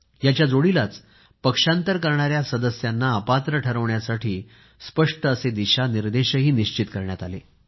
याच्या जोडीलाच पक्षांतर करणाऱ्या सदस्यांना अपात्र ठरवण्यासाठी स्पष्ट दिशानिर्देशही निश्चित करण्यात आले